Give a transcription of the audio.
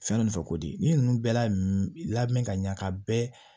Fɛn ninnu fɛ ko de ninnu bɛɛ lamɛn ka ɲa ka bɛɛ